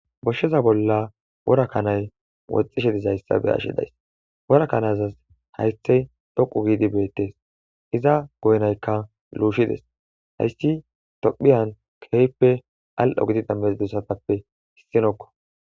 Doshsheza bolla wora kanay woxxishe dizayssabe ashidays wora kanazas haythey doqu giidi beettees iza goynaykka luushides hayssi tophiyan keehppe al'o gidi dambezdessatappe hissinokko